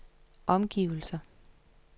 omgivelser